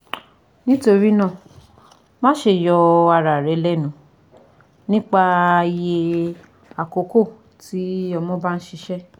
Nitorinaa maṣe yọ ara rẹ lẹnu nipa iye akoko ti ọmọ ba n ṣiṣẹ